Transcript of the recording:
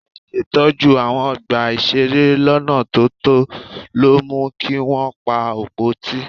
Àìletọ́jú àwọn ọgbà ìṣeré lọ́nà tó tọ́ ló mú kí wọ́n pa ọ̀pọ̀ tì.